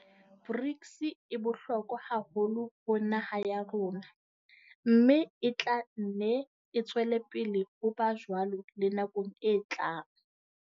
BRICS e bohlokwa haholo ho naha ya rona, mme e tla nne e tswele pele ho ba jwalo le nakong e tlang.